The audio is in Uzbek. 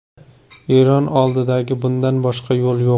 Eron oldida bundan boshqa yo‘l yo‘q.